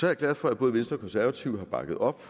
jeg glad for at både venstre og konservative har bakket op